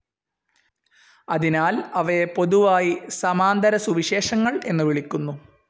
അതിനാൽ അവയെ പൊതുവായി സമാന്തരസുവിശേഷങ്ങൾ എന്നു വിളിക്കുന്നു.